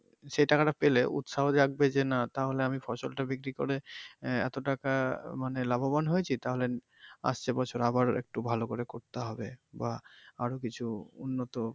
সে টাকা টা পেলে উৎসাহ জাগবে যে, না তাহলে আমি তাহলে আমি ফসল টা বিক্রি করে আহ এতো টাকা মানে লাভবান হয়েছি তাহলে আসছে বছর একটু ভালো করে করতে হবে বা আরো কিছু উন্নত।